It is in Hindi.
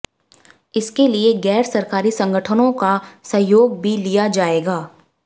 इसके लिए गैर सरकारी संगठनों का सहयोग भी लिया जाएगा